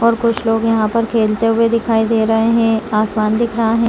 और कुछ लोग यहां पर खेलते हुए दिखाई दे रहे हैं आसमान दिख रहा है।